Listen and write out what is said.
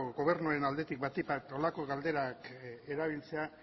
gobernuen aldetik batik bat holako galderak erabiltzea